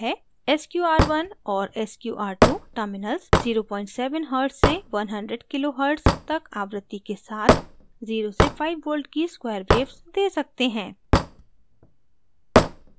sqr1 और sqr2 terminals 07 hertz से 100 kilo hertz तक आवृत्ति के साथ 0 से 5v की square waves दे सकते हैं